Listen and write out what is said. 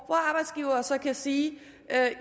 hvor arbejdsgivere så kan sige